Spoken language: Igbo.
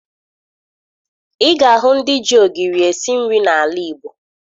Ị ga-ahụ ndị ji ogiri esi nri n'ala Igbo